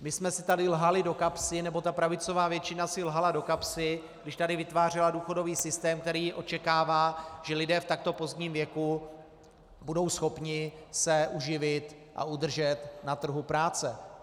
My jsme si tady lhali do kapsy, nebo ta pravicová většina si lhala do kapsy, když tady vytvářela důchodový systém, který očekává, že lidé v takto pozdním věku budou schopni se uživit a udržet na trhu práce.